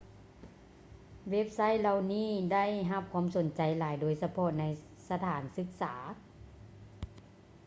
ເວັບໄຊທ໌ເຫຼົ່ານີ້ໄດ້ຮັບຄວາມສົນໃຈຫຼາຍ ໂດຍສະເພາະໃນສະຖານສຶກສາ